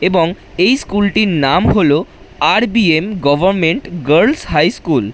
এবং এই স্কুল টির নাম হল R B M government girls high school.